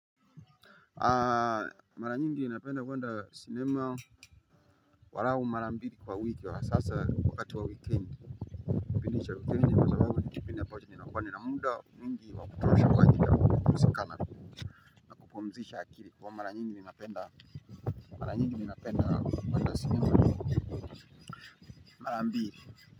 Maranyingi i napenda kwenda sinema angarau mara mbili kwawiki asa wakati wa wikendi kipindi cha wikendi kwa sababu nikipindi nakuwa na muda wa kutosha kupumsika na kupumsisha akili kwa hivo mara nyingi napenda kupande simu yangu mala mbili.